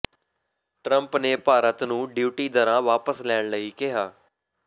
Trump ਨੇ ਭਾਰਤ ਨੂੰ duty ਦਰਾਂ ਵਾਪਸ ਲੈਣ ਲਈ ਕਿਹਾ